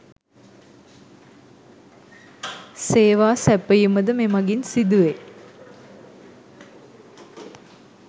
සේවා සැපයීමද මෙමගින් සිදු වේ